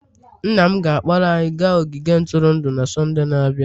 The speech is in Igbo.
Nna m ga-akpọrọ anyị gaa ogige ntụrụndụ na Sọnde na-abịa.